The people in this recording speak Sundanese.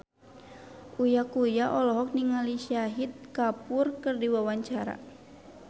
Uya Kuya olohok ningali Shahid Kapoor keur diwawancara